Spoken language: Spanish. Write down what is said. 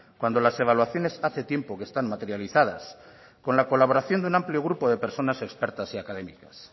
cuando las evaluaciones hace tiempo que están materializadas con la colaboración de un amplio grupo de personas expertas y académicas